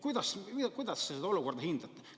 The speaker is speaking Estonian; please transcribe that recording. Kuidas te seda olukorda hindate?